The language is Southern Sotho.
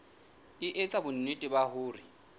e etsa bonnete ba hore